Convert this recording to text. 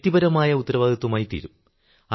വ്യക്തിപരമായ ഉത്തരവാദിത്വമായി തീരും